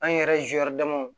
An yɛrɛ